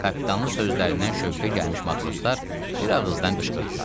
Kapitanın sözlərindən şövqə gəlmiş matroslar bir ağızdan qışqırdılar.